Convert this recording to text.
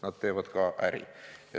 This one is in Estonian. Nad teevad ka äri.